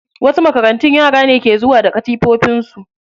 Wasu makarantun yara ne ke zuwa da katifofin su.